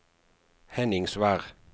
Henningsvær